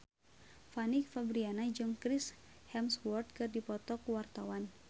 Fanny Fabriana jeung Chris Hemsworth keur dipoto ku wartawan